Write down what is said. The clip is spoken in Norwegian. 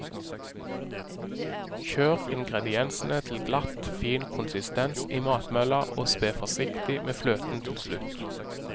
Kjør ingrediensene til glatt fin konsistens i matmølla, og spe forsiktig med fløten til slutt.